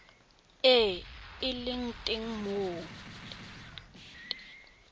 e e leng teng mo